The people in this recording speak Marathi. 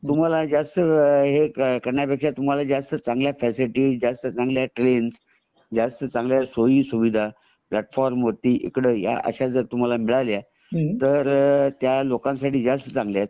तुम्हाला जास्त हे हे करण्यापेक्षा तुम्हाला जास्त चांगल्या फॅसिलिटी जास्त चांगल्या ट्रेनस जास्त चांगल्या सोई सुविधा प्लॅटफॉर्म वरती अश्या जर मिळाल्या तर त्या लोकांसाठी जास्त चांगल्या आहेत